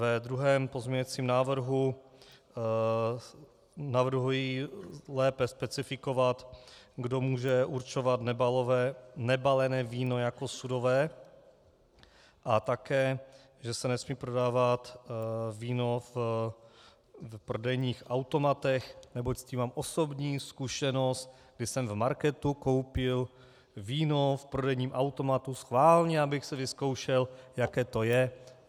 Ve druhém pozměňovacím návrhu navrhuji lépe specifikovat, kdo může určovat nebalené víno jako sudové, a také, že se nesmí prodávat víno v prodejních automatech, neboť s tím mám osobní zkušenost, kdy jsem v marketu koupil víno v prodejním automatu, schválně, abych si vyzkoušel, jaké to je.